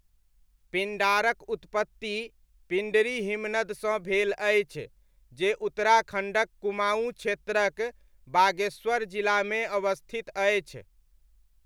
पिण्डारक उत्पत्ति पिण्डरी हिमनदसँ भेल अछि जे उत्तराखण्डक कुमाऊँ क्षेत्रक बागेश्वर जिलामे अवस्थित अछि।